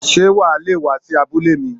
Sé wà a le è wá sí abúlé mi?